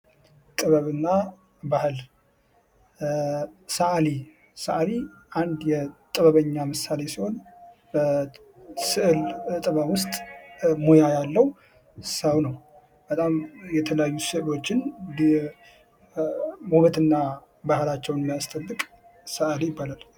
ጥበብና ባህል ሰዓሊ አንድ የጥበበኛ ምሳሌ ሲሆን በስእል ጥበብ ውስጥ ሙያ ያለው ሰው ነው። በጣም የተለያዩ ስዕሎችን ውበትና ባህላቸውን የሚያስጠብቅ ሰዓሊ ይባላል።